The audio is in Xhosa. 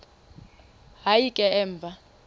hayi ke emva